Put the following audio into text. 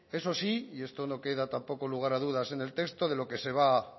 eso sí y esto no queda tampoco lugar a dudas en el texto de lo que se va a